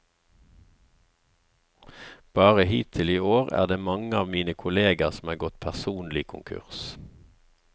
Bare hittil i år er det mange av mine kolleger som er gått personlig konkurs.